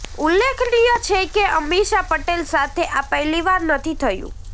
ઉલ્લેખનીય છે કે અમીષા પટેલ સાથે આ પહેલીવાર નથી થયું